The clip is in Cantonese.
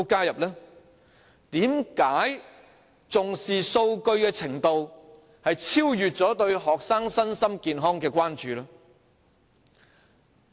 為何重視數據的程度超越對學生身心健康的關注？